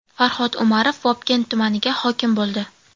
Farhod Umarov Vobkent tumaniga hokim bo‘ldi.